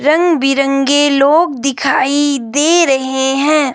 रंग बिरंगे लोग दिखाई दे रहे हैं।